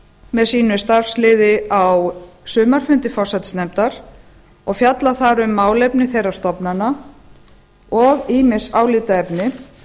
með sínu starfsliði á suma fundi forsætisnefndar og fjalla þar um málefni þeirra stofnana og ýmis álitaefni